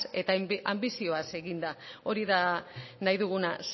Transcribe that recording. eta anbizioaz eginda hori da nahi dugula